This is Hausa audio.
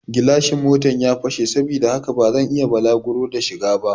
Gilashin Motan ya fashe saboda haka bazan iya bulaguro da shi ba